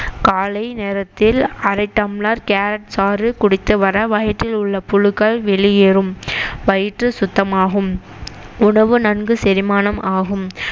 காலை நேரத்தில் அரை டம்ளர் கேரட் சாறு குடித்து வர வயிற்றில் உள்ள புழுக்கள் வெளியேறும் வயிற்று சுத்தமாகும் உணவு நன்கு செரிமானம் ஆகும்